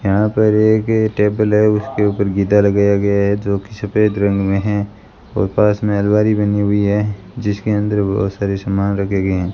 यहां पर एक ये टेबल है उसके ऊपर गीता लगाया गया गया है जो कि सफेद रंग में है और पास में अलमारी बनी हुई है जिसके अंदर बहुत सारे सामान रखे गए हैं।